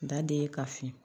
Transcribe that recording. Da de ye ka fi